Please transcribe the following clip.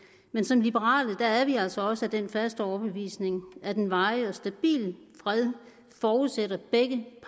men som liberale er vi altså også af den faste overbevisning at en varig og stabil fred forudsætter begge